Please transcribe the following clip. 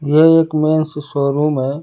ये एक men's showroom है।